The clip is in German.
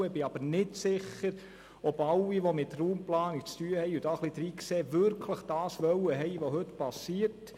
Ich bin aber nicht sicher, dass alle, die mit Raumplanung zu tun haben und da ein bisschen hineinsehen, wirklich haben wollen, was heute geschieht.